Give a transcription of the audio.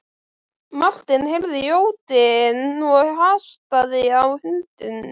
Marteinn heyrði jódyn og hastaði á hundinn.